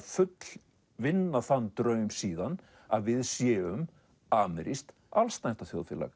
fullvinna þann draum síðan að við séum amerískt